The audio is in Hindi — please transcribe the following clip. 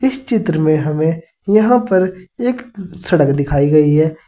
इस चित्र में हमें यहां पर एक सड़क दिखाई गई है।